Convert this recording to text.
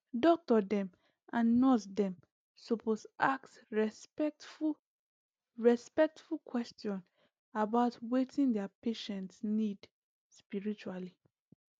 ah doctor dem and nurse dem supose ask respectful respectful question about wetin their patients need spiritually